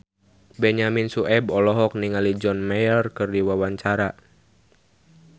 Benyamin Sueb olohok ningali John Mayer keur diwawancara